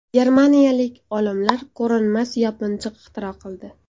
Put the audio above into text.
Germaniyalik olimlar ko‘rinmas yopinchiq ixtiro qildi.